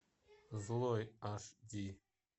злой аш ди